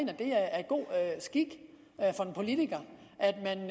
er god skik for en politiker